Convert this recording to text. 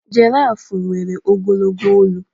Jirafụ nwere ogologo olu.